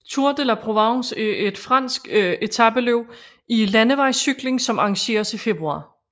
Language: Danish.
Tour de La Provence er et fransk etapeløb i landevejscykling som arrangeres i februar